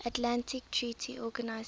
atlantic treaty organisation